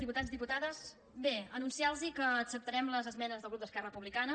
diputats diputades bé anun ciarlos que acceptarem les esmenes del grup d’esquerra republicana